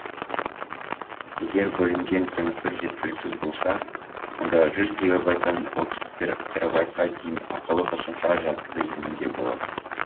егер бөлінген кеңістік жеткіліксіз болса онда жүз гегабайттан отыз терабайтқа дейін ақылы қосымша жадты иеленуге болады